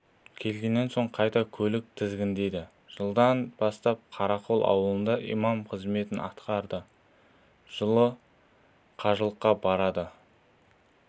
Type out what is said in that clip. келгеннен соң қайта көлік тізгіндейді жылдан бастап қарақол ауылында имам қызметін атқарады жылы қажылыққа барады